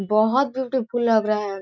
बहोत beautiful लग रहा है ।